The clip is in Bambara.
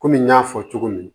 Komi n y'a fɔ cogo min